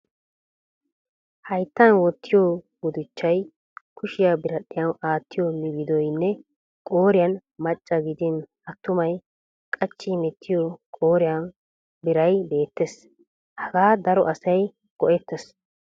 Hayittan wottiyo gudichchay, kushiya biradhdhiyan aattiyo migidoyinne qooriyan macca gidin attumay qachchi hemettiyo qooriyan biray beettes. Hagaa daro asay go'ettes.